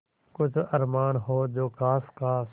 कुछ अरमान हो जो ख़ास ख़ास